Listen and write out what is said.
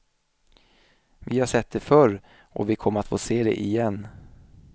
Vi har sett det förr och vi kommer att få se det igen.